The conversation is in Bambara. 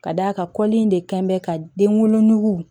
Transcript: Ka d'a kan kɔli in de kɛn bɛ ka den wolonugu nugu